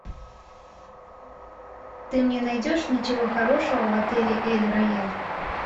ты мне найдешь ничего хорошего в отеле эль рояль